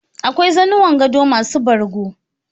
Akwai zanuwan gado masu bargo